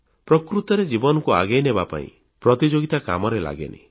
ପ୍ରକୃତରେ ଜୀବନକୁ ଆଗେଇନେବା ପାଇଁ ପ୍ରତିଯୋଗିତା କାମରେ ଲାଗେନି